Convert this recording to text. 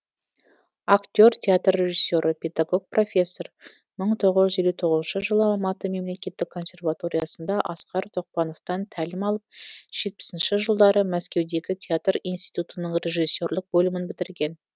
актер театр режиссері педагог профессор мың тоғыз жүз елу тоғызыншы жылы алматы мемлекеттік консерваториясында асқар тоқпановтан тәлім алып жетпісінші жылдары мәскеудегі театр иниститутының режиссерлік бөлімін бітірген